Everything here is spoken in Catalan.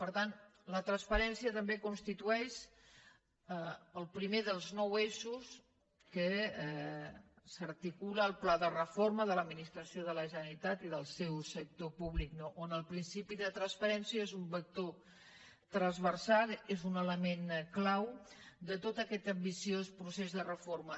per tant la transparència també constitueix el primer dels nou eixos en què s’articula el pla de reforma de l’administració de la generalitat i del seu sector públic on el principi de transparència és un vector transversal és un element clau de tot aquest ambiciós procés de reforma